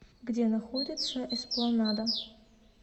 где находится эспланада